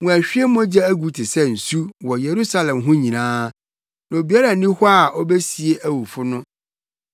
Wɔahwie mogya agu te sɛ nsu wɔ Yerusalem ho nyinaa, na obiara nni hɔ a obesie awufo no.